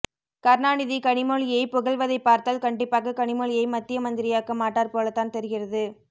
கருணாநிதி கனிமொழியை புகழ்வதைபார்த்தால் கண்டிப்பாக கனிமொழியை மத்திய மந்திரியாக்க மாட்டார் போலத்தான் தெரிகிறது